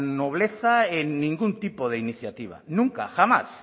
nobleza en ningún tipo de iniciativa nunca jamás